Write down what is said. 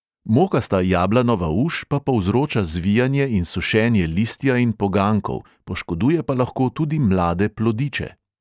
Mokasta jablanova uš pa povzroča zvijanje in sušenje listja in poganjkov, poškoduje pa lahko tudi mlade plodiče.